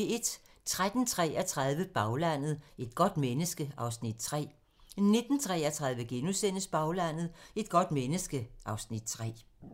13:33: Baglandet: Et godt menneske (Afs. 3) 19:33: Baglandet: Et godt menneske (Afs. 3)*